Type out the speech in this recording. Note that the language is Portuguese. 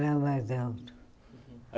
Fala mais alto.